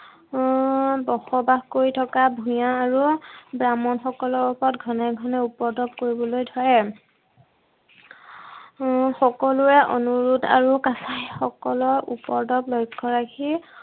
আহ বসবাস কৰি থকা ভূঞা আৰু ব্ৰাহ্মণসকলৰ ওপৰত ঘনে ঘনে উপদ্ৰৱ কৰিবলৈ ধৰে। সকলোৰে অনুৰোধ আৰু কাছাৰীসকলৰ উপদ্ৰৱ লক্ষ্য ৰাখি